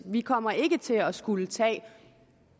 vi kommer ikke til at skulle tage